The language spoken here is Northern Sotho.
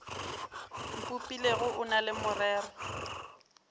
mpopilego o na le morero